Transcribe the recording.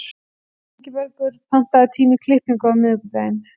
Ingibergur, pantaðu tíma í klippingu á miðvikudaginn.